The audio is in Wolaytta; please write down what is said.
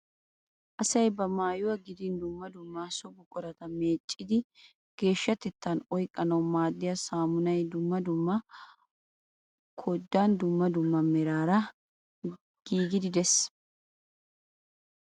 Asayi ba maayuwa gidin dumma dumma so buqurata meeccidi geeshshatetan oyiqqanawu maaddiya saamunay dumma dumma koddan dumma dumma meraara giigidaagee des.